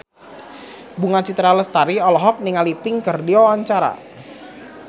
Bunga Citra Lestari olohok ningali Pink keur diwawancara